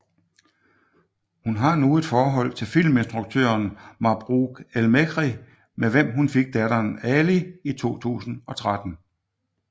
Hun har nu et forhold til filminstruktøren Mabrouk El Mechri med hvem hun fik datteren Ali i 2013